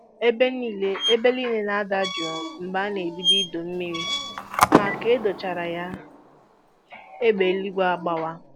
Ebe niile Ebe niile na-ada jụụ mgbe a na-ebido ịdọ mmiri ma ka a dọchara ya, egbe eluigwe agbawa